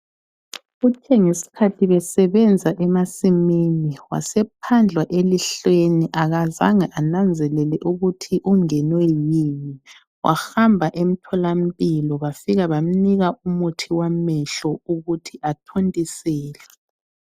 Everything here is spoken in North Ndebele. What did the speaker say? Kuthe ngesikhathi besebenza emasimini ,wasephandlwa elihlweni akazange enanzelele ukuthi ungenwe yini. Wahamba emtholampilo bafika bamupha umuthi wokuthi athontisele.